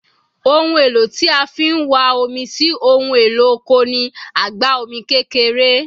Ohun èlò tí a fi ń wán omi sí ohun èlò oko ni àgbá omi kékeré